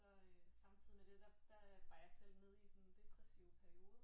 Så samtidig med det der der var jeg selv nede i sådan en depressiv periode